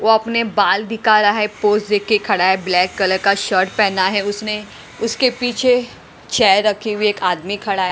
वो अपने बाल दिखा रहा है पोस्ट देख के खड़ा है ब्लैक कलर का शर्ट पहना है उसने उसके पीछे चेयर रखी हुई एक आदमी खड़ा है।